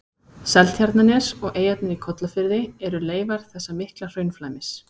Seltjarnarnes og eyjarnar í Kollafirði eru leifar þessa mikla hraunflæmis.